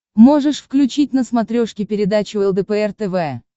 можешь включить на смотрешке передачу лдпр тв